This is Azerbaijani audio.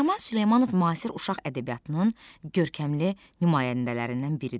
Nəriman Süleymanov müasir uşaq ədəbiyyatının görkəmli nümayəndələrindən biridir.